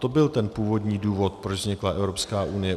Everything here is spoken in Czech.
To byl ten původní důvod, proč vznikla Evropská unie.